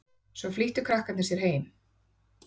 Svo flýttu krakkarnir sér heim.